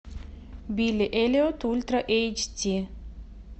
билли эллиот ультра эйч ди